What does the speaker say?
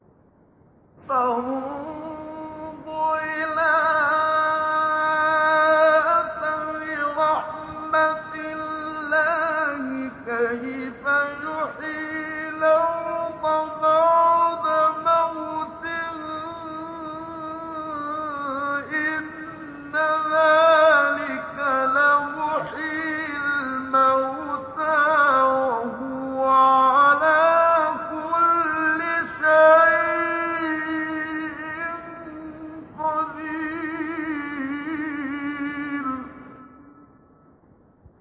فَانظُرْ إِلَىٰ آثَارِ رَحْمَتِ اللَّهِ كَيْفَ يُحْيِي الْأَرْضَ بَعْدَ مَوْتِهَا ۚ إِنَّ ذَٰلِكَ لَمُحْيِي الْمَوْتَىٰ ۖ وَهُوَ عَلَىٰ كُلِّ شَيْءٍ قَدِيرٌ